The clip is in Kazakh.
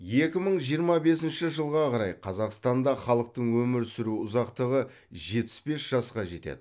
екі мың жиырма бесінші жылға қарай қазақстанда халықтың өмір сүру ұзақтығы жетпіс бес жасқа жетеді